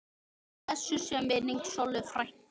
Blessuð sé minning Sollu frænku.